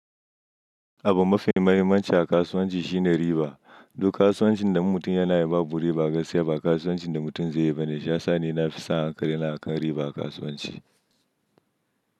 Abun mafi muhimmanci a kasuwanci shine riba. Duk kasuwancin da mutum yana yin ba bu riba gaskiya ba, kasuwancin da mutum zai yi ba ne. Shiyasa ni nafi sa hankali na akan riba a kasuwanci.